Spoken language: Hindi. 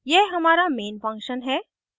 यह हमारा main function है